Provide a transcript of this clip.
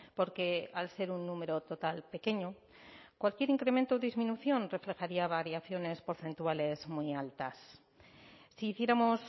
porque al ser un número total pequeño cualquier incremento o disminución reflejaría variaciones porcentuales muy altas si hiciéramos